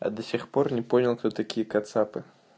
а до сих пор не понял кто такие кацапы